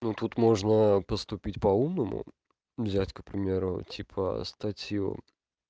ну тут можно поступить по-умному взять к примеру типа статью